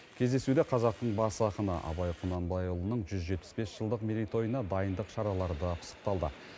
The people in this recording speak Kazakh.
кездесуде қазақтың бас ақыны абай құнанбайұлының жүз жетпіс бес жылдық мерейтойына дайындық шаралары да пысықталды